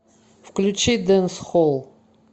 включи дэнсхолл